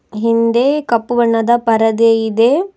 ಹಿಂದೆ ಕಪ್ಪು ಬಣ್ಣದ ಪರದೆ ಇದೆ.